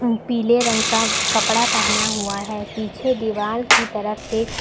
पीले रंग का कपड़ा पहना हुआ है पीछे दीवाल की तरफ एक--